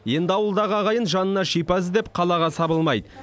енді ауылдағы ағайын жанына шипа іздеп қалаға сабылмайды